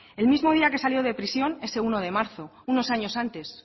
el mismo día que salió de prisión ese uno de marzo unos años antes